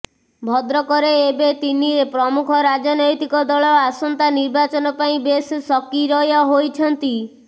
ଭଦ୍ରକରେ ଏବେ ତିନି ପ୍ରମୁଖ ରାଜନୈତିକ ଦଳ ଆସନ୍ତା ନିର୍ବାଚନ ପାଇଁ ବେଶ୍ ସକି୍ରୟ ହୋଇଛନ୍ତି